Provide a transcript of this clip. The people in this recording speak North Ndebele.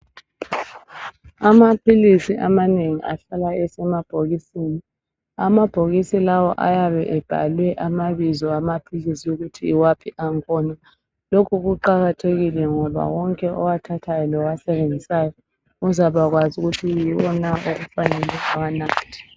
Amaphilisi amanengi ahlala esemabhokisini amabhokisi lawo ayabe ebhalwe amabizo amaphilisi ukuthi yiwaphi angkhona lokhu kuqakathekile ngoba wonke owathathayo lowasebenzisayo uzabakwazi ukuthi yiwo na okufanele awanathe